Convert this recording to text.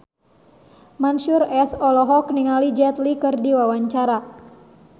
Mansyur S olohok ningali Jet Li keur diwawancara